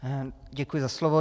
Děkuji za slovo.